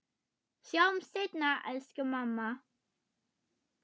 Sjáumst seinna, elsku mamma.